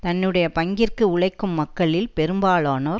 தன்னுடைய பங்கிற்கு உழைக்கும் மக்களில் பெரும்பாலானோர்